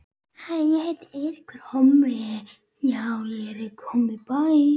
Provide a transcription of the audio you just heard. Það er nóg að gera.